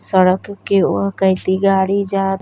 सड़क के उ केति गाड़ी जात --